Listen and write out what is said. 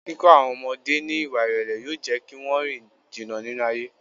Kíkọ́ àwọn ọmọdé ní Ìwà ìrèlè yóò jẹ́ kí wón rìn jìnnà nínú ayé.